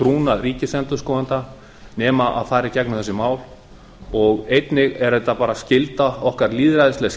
trúnað ríkisendurskoðanda nema að fara í gegnum þessi mál og einnig er þetta bara lýðræðisleg